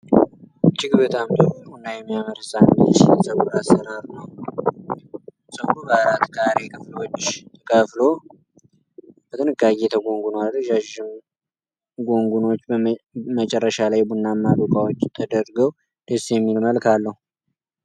እጅግ በጣም ጥሩ እና የሚያምር የህፃን ልጅ የፀጉር አሰራር ነው። ፀጉሩ በአራት ካሬ ክፍሎች ተከፍሎ በጥንቃቄ ተጎንጉኗል። ረዣዥም ጎንጎኖች መጨረሻ ላይ ቡናማ ዶቃዎች ተደርገው ደስ የሚል መልክ አለው።